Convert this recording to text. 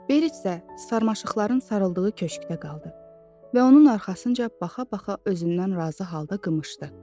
Berit isə sarmaşıqların sarıldığı köşkdə qaldı və onun arxasınca baxa-baxa özündən razı halda qımışdı.